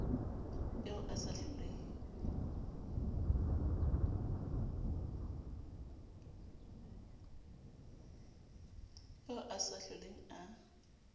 eo a sa hloleng a